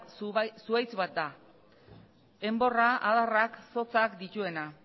zuhaitz bat da enborra adarrak eta zotzak dituena